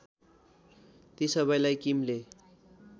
ती सबैलाई किमले